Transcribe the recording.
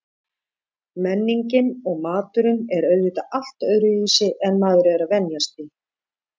Menningin og maturinn er auðvitað allt öðruvísi en maður er að venjast því.